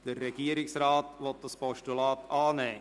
Der Regierungsrat will dieses annehmen.